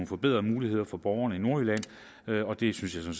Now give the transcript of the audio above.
forbedrede muligheder for borgerne i nordjylland og det synes jeg